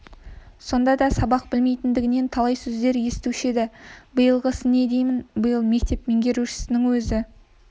сонда да сабақ білмейтіндігінен талай сөздер естуші еді биылғысы не деймін биыл мектеп меңгерушісінің өзі